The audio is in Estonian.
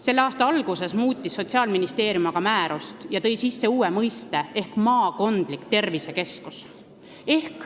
Selle aasta alguses muutis Sotsiaalministeerium aga määrust ja tõi sisse uue mõiste "maakondlik tervisekeskus".